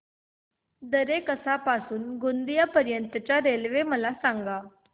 दरेकसा पासून ते गोंदिया पर्यंत च्या रेल्वे मला सांगा